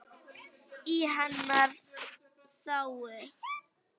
Í hennar þágu.